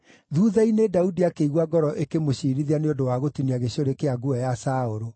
Thuutha-inĩ, Daudi akĩigua ngoro ĩkĩmũciirithia nĩ ũndũ wa gũtinia gĩcũrĩ kĩa nguo ya Saũlũ.